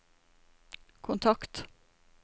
kontakt